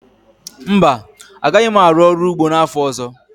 Mba, agaghị m arụ ọrụ ugbo n'afọ ọzọ